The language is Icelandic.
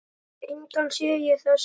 Engan sé ég þess stað.